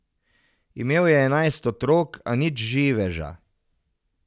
Imel je enajst otrok, a nič živeža.